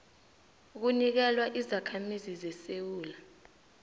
kunikelwa izakhamizi zesewula